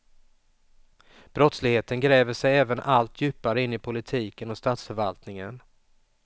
Brottsligheten gräver sig även allt djupare in i politiken och statsförvaltningen.